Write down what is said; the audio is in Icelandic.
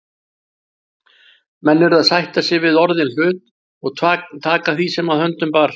Menn urðu að sætta sig við orðinn hlut og taka því sem að höndum bar.